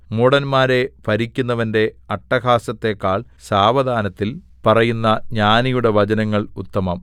മൂഢന്മാരെ ഭരിക്കുന്നവന്റെ അട്ടഹാസത്തെക്കാൾ സാവധാനത്തിൽ പറയുന്ന ജ്ഞാനികളുടെ വചനങ്ങൾ ഉത്തമം